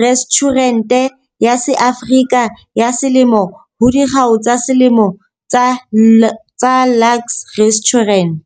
Restjhurente ya SeAfrika ya Selemo ho Dikgau tsa Selemo tsa Luxe Restaurant.